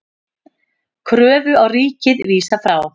Kröfu á ríkið vísað frá